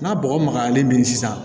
N'a bɔgɔ magayalen don sisan